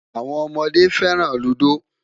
Awọn ọmọde fẹran Ludo